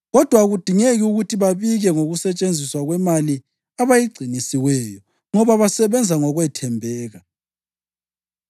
Kodwa akudingeki ukuthi babike ngokusetshenziswa kwemali abayigcinisiweyo, ngoba basebenza ngokwethembeka.”